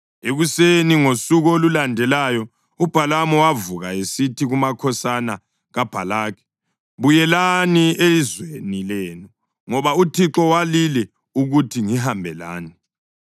Ekuseni ngosuku olulandelayo uBhalamu wavuka esithi kumakhosana kaBhalaki, “Buyelani ezweni lenu, ngoba uThixo walile ukuthi ngihambe lani.”